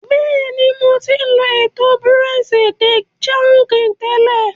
Bẹ́ẹ̀ni, ḿó ti lọ ètò Bureau de sangí tẹ́lẹ̀.